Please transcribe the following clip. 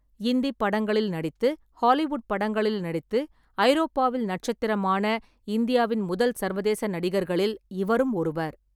இந்திப் படங்களில் நடித்து, ஹாலிவுட் படங்களில் நடித்து, ஐரோப்பாவில் நட்சத்திரமான இந்தியாவின் முதல் சர்வதேச நடிகர்களில் இவரும் ஒருவர்.